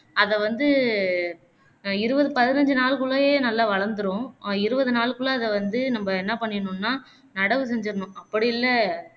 அதைவந்து இருபது பதினைந்து நாளுக்குள்ளேயே நல்லா வளந்துரும் இருபது நாளுக்குள்ள அதை வந்து நம்ப என்ன பண்ணீரனும்னா நடவு செஞ்சுறணும் அப்படி இல்ல